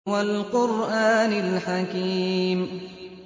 وَالْقُرْآنِ الْحَكِيمِ